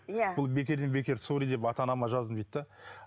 иә бұл бекерден бекер сорри деп ата анама жаздым дейді де